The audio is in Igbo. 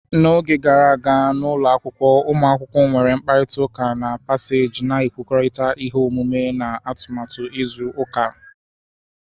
N'oge gara aga, n'ụlọ akwụkwọ, ụmụ akwụkwọ nwere mkparịta ụka na paseeji, na-ekwurịta ihe omume na atụmatụ izu ụka.